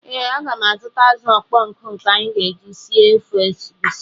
Ee, aga m azụta azụ̀ ọkpọ nkụ nke anyị ga-eji sie ofe egusi.